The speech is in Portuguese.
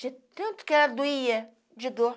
De tanto que ela doía de dor.